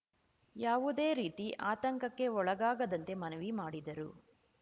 ಯಾವುದೇ ರೀತಿ ಆತಂಕಕ್ಕೆ ಒಳಗಾಗದಂತೆ ಮನವಿ ಮಾಡಿದರು